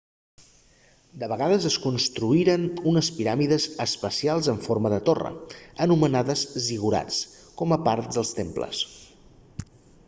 de vegades es construïen unes piràmides especials en forma de torre anomenades zigurats com a part dels temples